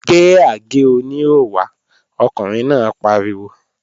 Gbé àgé-oníhò wá! Ọkùnrin náà pariwo